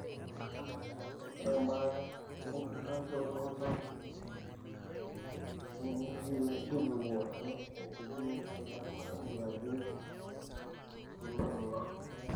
Ore ebaata enkitashoto oltau nemetii ekipimosho nabo naingurarieki esularoto oltau.